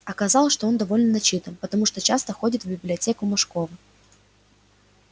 оказалось что он довольно начитан потому что часто ходит в библиотеку мошкова